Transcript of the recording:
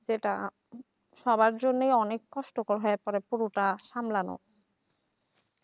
সেটা সবার জন্য অনেক কষ্টকর হয়ে পড়ে পুরোটা সামলানো